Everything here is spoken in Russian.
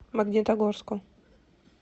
магнитогорску